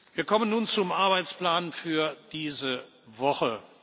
Wir kommen nun zum Arbeitsplan für diese